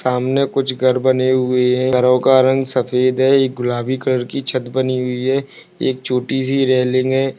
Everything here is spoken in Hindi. सामने कुछ घर बने हुए है घरों का रंग सफ़ेद है एक गुलाबी कलर कि छत बनी हुई है एक चोटी सी रैलिंग है।